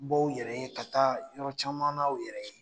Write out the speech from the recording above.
Bɔ u yɛrɛ ye ka taa yɔrɔ caman u yɛrɛ ye.